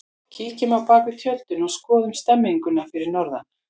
Kíkjum á bakvið tjöldin og skoðum stemmninguna fyrir norðan!